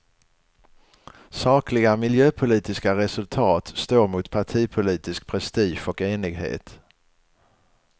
Sakliga miljöpolitiska resultat står mot partipolitisk prestige och enighet.